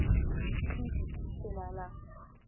Bíbí, spilaðu lag.